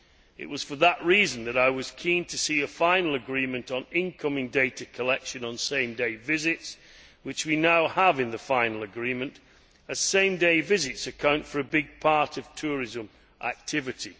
It was for that reason that I was keen to see a final agreement on incoming data collection on same day visits, which we now have in the final agreement, as same day visits account for a large part of tourism activity.